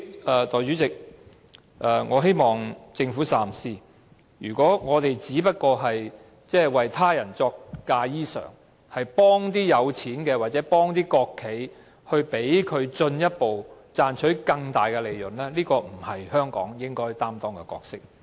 代理主席，我希望政府三思，如果我們只是"為他人作嫁衣裳"，幫助富有的人或國企，讓他們賺取更大利潤，這不是香港應該擔當的角色。